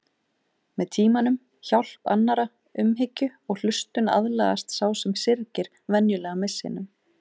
Með tímanum, hjálp annarra, umhyggju og hlustun aðlagast sá sem syrgir venjulega missinum.